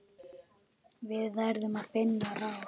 Við verðum að finna ráð.